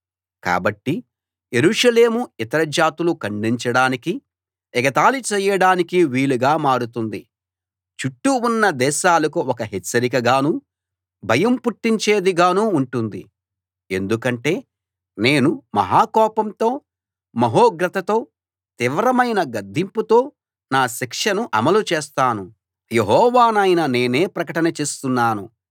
కాబట్టి యెరూషలేము ఇతర జాతులు ఖండించడానికీ ఎగతాళి చేయడానికీ వీలుగా మారుతుంది చుట్టూ ఉన్న దేశాలకు ఒక హెచ్చరికగానూ భయం పుట్టించేదిగానూ ఉంటుంది ఎందుకంటే నేను మహా కోపంతో మహోగ్రతతో తీవ్రమైన గద్దింపుతో నా శిక్షను అమలు చేస్తాను యెహోవానైన నేనే ప్రకటన చేస్తున్నాను